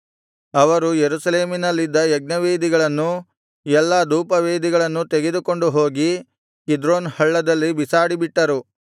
ಅವರು ಯೆರೂಸಲೇಮಿನಲ್ಲಿದ್ದ ಯಜ್ಞವೇದಿಗಳನ್ನೂ ಎಲ್ಲಾ ಧೂಪವೇದಿಗಳನ್ನೂ ತೆಗೆದುಕೊಂಡು ಹೋಗಿ ಕಿದ್ರೋನ್ ಹಳ್ಳದಲ್ಲಿ ಬಿಸಾಡಿಬಿಟ್ಟರು